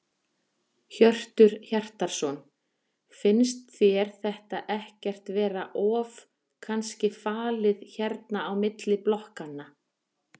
Hjörtur Hjartarson: Finnst þér þetta ekkert vera of kannski falið hérna á milli blokkanna?